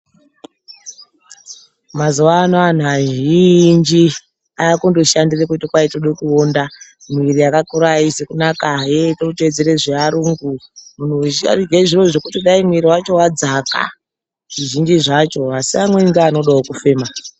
Mazuwa anaya anhu vazhinji, aakungoshandire kuti toda kuwonda. Miiri yakakura haizi kunaka ,hee tode kutedzere zve varungu munhu weshe arikudye zvinhu zvekuti dai muiri wacho wadzaka zvizhinji zvacho, asi amweni acho anodawo kufema.